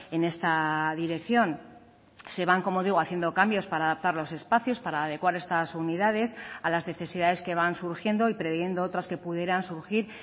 en esta dirección se van como digo haciendo cambios para adaptar los espacios para adecuar estas unidades a las necesidades que van surgiendo y previendo otras que pudieran surgir